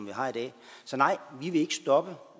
vi har i dag så nej vi vil ikke stoppe